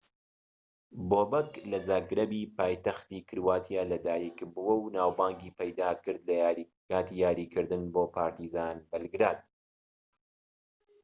بۆبەک لە زاگرەبی پایتەختی کرواتیا لەدایکبووە و ناوبانگی پەیداکرد لەکاتی یاریکردن بۆ پارتیزان بەلگراد